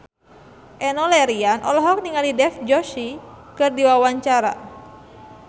Enno Lerian olohok ningali Dev Joshi keur diwawancara